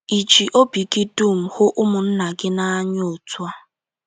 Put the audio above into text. Ì ji obi gị dum hụ ụmụnna gị n’anya otú a?